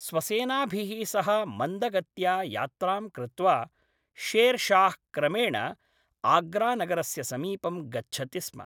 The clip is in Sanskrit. स्वसेनाभिः सह मन्दगत्या यात्रां कृत्वा, शेर् शाह् क्रमेण आग्रानगरस्य समीपं गच्छति स्म।